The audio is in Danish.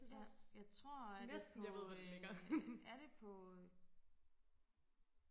ja jeg tror er det på øh er det på øh